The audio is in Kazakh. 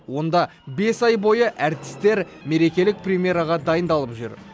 онда ай бойы әртістер мерекелік премьераға дайындалып жүр